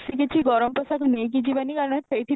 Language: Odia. କି କିଛି ଗରମ ପୋଷାକ ନେଇକି ଜୀବନୀ କାରଣ ସେଇଠି